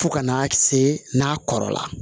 Fo ka n'a se n'a kɔrɔla